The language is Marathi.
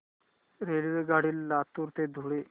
रेल्वेगाडी लातूर ते धुळे